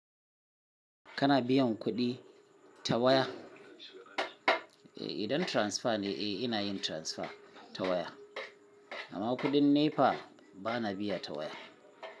Kana biyan kuɗi ta waya, eh idan transfer ne eh ina yin transfer ta waya. Amma kuɗin NEPA bana biya ta waya.